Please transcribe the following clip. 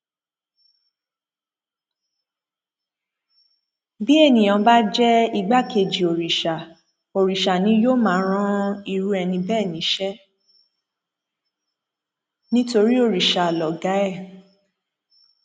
bí èèyàn bá jẹ igbákejì òrìṣà òrìṣà ni yóò máa ran irú ẹni bẹẹ níṣẹ nítorí òrìṣà lọgá ẹ